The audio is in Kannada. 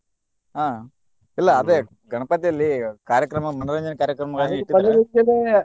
ಹ್ಮ್ ಇಲ್ಲಾ ಅದೇ ಗಣಪತಿಯಲ್ಲಿ ಕಾರ್ಯಕ್ರಮ ಮನರಂಜನೆ ಕಾರ್ಯಕ್ರಮಗಳನ್ನ ಇಟ್ಟಿರ್ತಾರ .